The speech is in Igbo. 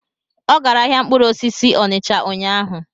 Ọ gara ahịa mkpụrụ osisi Onicha ụnyaahụ?